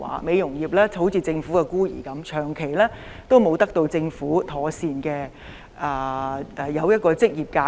美容業就像政府的孤兒，長期沒有得到政府制訂一個妥善的職業架構。